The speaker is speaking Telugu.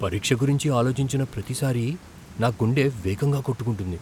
పరీక్ష గురించి ఆలోచించిన ప్రతిసారీ నా గుండె వేగంగా కొట్టుకుంటుంది.